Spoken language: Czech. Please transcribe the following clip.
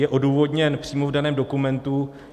Je odůvodněn přímo v daném dokumentu.